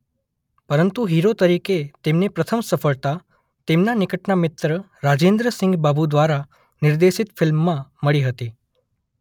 પરંતુ હીરો તરીકે તેમને પ્રથમ સફળતા તેમના નિકટના મિત્ર રાજેન્દ્ર સિંઘ બાબુ દ્વારા નિર્દેશિત ફિલ્મમાં મળી હતી.